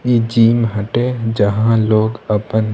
इ जिम हटे जहाँ लोग आपन --